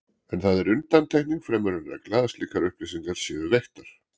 En það er undantekning fremur en regla að slíkar upplýsingar séu veittar.